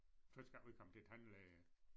Første gang vi kom til æ tandlæge